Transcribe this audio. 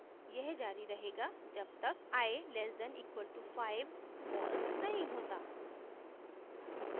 यह जारी रहेगा जब तक i <= 5 false नहीं होता